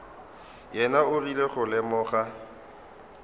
yena o rile go lemoga